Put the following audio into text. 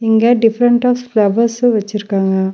இங்க different of flowers வெச்சுருக்காங்க.